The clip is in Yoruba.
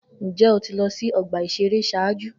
Njẹ o ti lọ si ọgba iṣere ṣaaju?